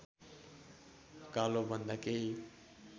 कालोभन्दा केही